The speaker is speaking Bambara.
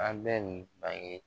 An bɛ nin bange